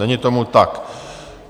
Není tomu tak.